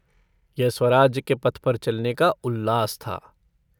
यह स्वराज्य के पथ पर चलने का उल्लास था।